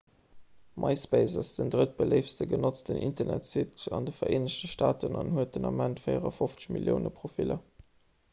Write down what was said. myspace ass den drëttbeléiftste genotzten internetsite an de vereenegte staaten an huet den ament 54 millioune profiller